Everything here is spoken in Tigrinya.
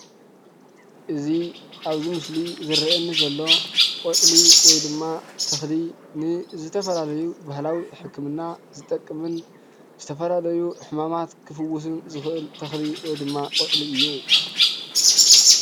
እዚ ኣብዚ ምስሊ ዝርአየኒ ዘሎ ቆፅሊ ወይ ድማ ተኽሊ ንዝተፈላለዩ ባህላዊ ሕክምና ዝጠቕምን ዝተፈላለዩ ሕማማት ክፍውስን ዝኽእል ተኽሊ ወይ ድማ ቆፅሊ እዩ፡፡